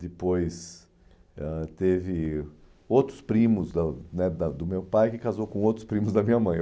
Depois, ãh teve outros primos da né da do meu pai que casou com outros primos da minha mãe.